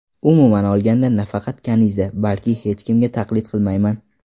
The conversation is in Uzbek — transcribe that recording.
Umuman olganda, nafaqat Kaniza, balki hech kimga taqlid qilmayman.